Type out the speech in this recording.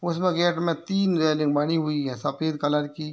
उसमे गेट में तीन रैलिंग बनी हुई है सफेद कलर की।